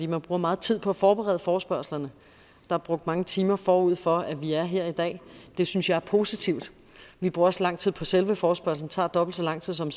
man bruger meget tid på at forberede forespørgslerne der er brugt mange timer forud for at vi er her i dag det synes jeg er positivt vi bruger også lang tid på selve forespørgslen det tager dobbelt så lang tid som